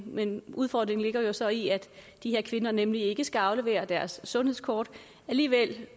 men udfordringen ligger jo så i at de her kvinder nemlig ikke skal aflevere deres sundhedskort alligevel